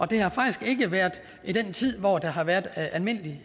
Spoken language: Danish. det har faktisk ikke været i den tid hvor der har været almindelig